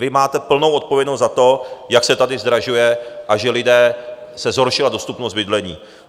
Vy máte plnou odpovědnost za to, jak se tady zdražuje a že lidem se zhoršila dostupnost bydlení.